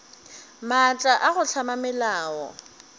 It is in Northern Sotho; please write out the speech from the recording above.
maatla a go hlama melao